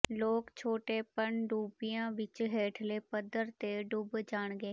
ਲੋਕ ਛੋਟੇ ਪਣਡੁੱਬਿਆਂ ਵਿੱਚ ਹੇਠਲੇ ਪੱਧਰ ਤੇ ਡੁੱਬ ਜਾਣਗੇ